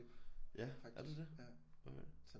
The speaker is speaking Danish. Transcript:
Ja er der det okay